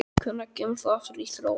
Hvenær kemur þú aftur í Þrótt?